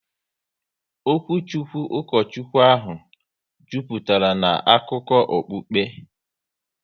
Okwuchukwu Ukochukwu ahụ jupụtara na akụkọ okukpe